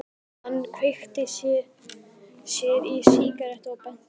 Hann kveikti sér í sígarettu og benti á Badda.